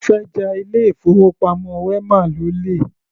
Ó fẹ́ ja ilé-ìfowópamọ́ wema lólè.